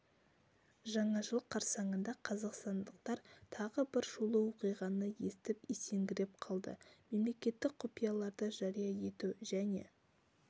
жаңа жыл қарсаңында қазақстандықтар тағы бір шулы оқиғаны естіп есеңгіреп қалды мемлекеттік құпияларды жария ету және